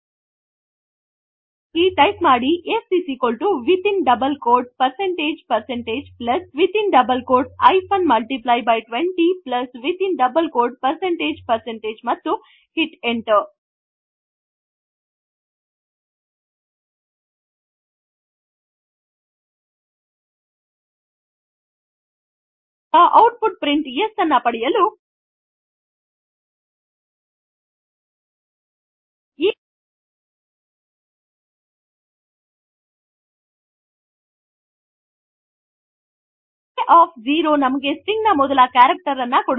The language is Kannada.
ಹಾಗಾಗಿ ಟೈಪ್ ಮಾಡಿ s within double quotes percentage percentage plus within double quotes hyphen multiply by 20 plus within double quotes percentage percentage ಮತ್ತು hit enter now to get an output print s ಈಗ ಔಟ್ ಪುಟ್ ಪ್ರಿಂಟ್ s ಅನ್ನು ಪಡೆಯಲು a0 ನಮಗೆ ಸ್ಟ್ರಿಂಗ್ ನ ಮೊದಲ ಕ್ಯಾರೆಕ್ಟರ್ ಅನ್ನು ಕೊಡುತ್ತದೆ